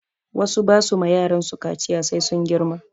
Wasu ba su ma yaransu kaciya sai sun girma